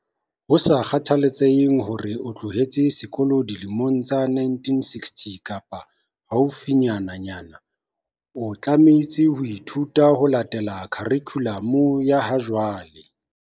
Ho sa kgathaletsehe hore na o tloheletse sekolo dilemong tsa bo 1960 kapa haufinyananyana, o tlameha ho ithuta ho latela khurikhulamu ya ha jwale.